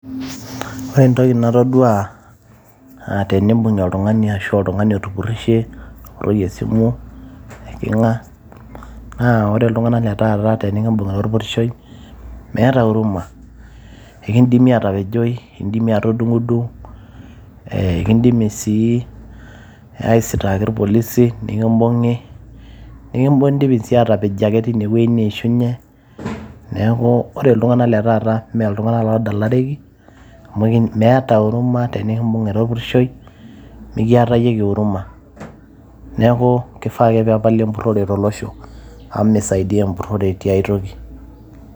Ore entoki natadua aa teneibungi oltungani arashu oltungani otupurishe apuroo esimu ino, eikinga naa ore ltunganak le taata peibung orpurishoi meeta huruma ,enkidimi atapejoi, ekidimi atudung, enkindimi sii aisitaaki irpolisi nikimbungi, ekindimi si atepejoi teinewueji neishunye, neaku ore ltunganak le taata me ltunganak ladalareki ,amu meeta uruma tenekimbung ira orpurishoi mekiatayieki uruma, neaku kifaa ake peepali empurore tolosho amu misaidia empurore tiaai toki.